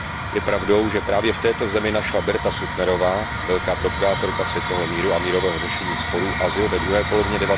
Je pravdou, že právě v této zemi našla Berta Suttnerová, velká propagátorka světového míru a mírového řešení sporů, azyl ve druhé polovině